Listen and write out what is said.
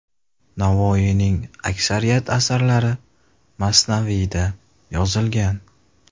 Navoiyning aksariyat asarlari masnaviyda yozilgan.